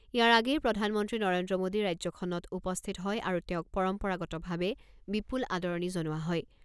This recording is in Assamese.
ইয়াৰ আগেয়ে প্ৰধানমন্ত্ৰী নৰেন্দ্ৰ মোদী ৰাজ্যখনত উপস্থিত হয় আৰু তেওঁক পৰম্পৰাগতভাৱে বিপুল আদৰণি জনোৱা হয়।